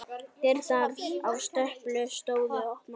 Dyrnar á stöpli stóðu opnar.